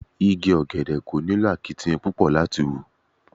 Igi ọ̀gẹ̀dẹ̀ kò nílò akitiyan púpọ̀ láti hù.